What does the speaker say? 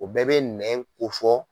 O bɛɛ bɛ nɛn ko fɔ.